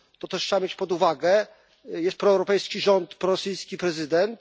To też trzeba wziąć pod uwagę, że jest proeuropejski rząd i prorosyjski prezydent.